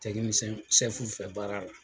fɛ baara la